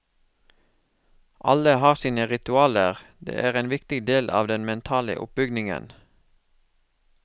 Alle har sine ritualer, de er en viktig del av den mentale oppbyggingen.